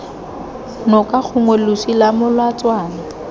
noka gongwe losi lwa molatswana